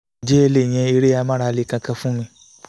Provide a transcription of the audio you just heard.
ǹjẹ́ ẹ lè yan eré amárale kankan fún mi